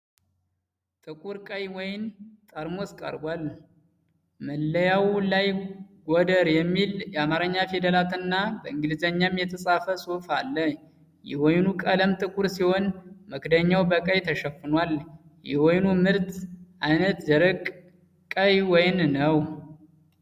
ጥቁር ቀይ ወይን ጠርሙስ ቀርቧል። መለያው ላይ "ጎደር" የሚል የአማርኛ ፊደላትና በእንግሊዝኛም የተጻፈ ጽሑፍ አለ። የወይኑ ቀለም ጥቁር ሲሆን፣ መክደኛው በቀይ ተሸፍኗል። የወይኑ ምርት ዓይነት ደረቅ ቀይ ወይን ነው።